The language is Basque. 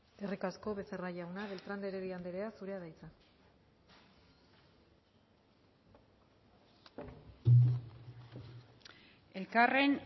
eskerrik asko becerra jauna beltrán de heredia anderea zurea da hitza elkarren